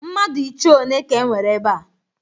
Mmadụ ichie one ka e nwere ebe a?